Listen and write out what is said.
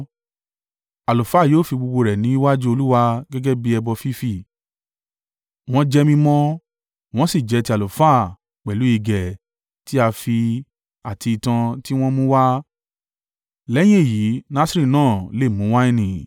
Àlùfáà yóò fi gbogbo rẹ̀ níwájú Olúwa gẹ́gẹ́ bí ẹbọ fífì, wọ́n jẹ́ mímọ́, wọ́n sì jẹ́ ti àlùfáà pẹ̀lú igẹ̀ tí a fì àti itan tí wọ́n mú wá. Lẹ́yìn èyí, Nasiri náà lè mu wáìnì.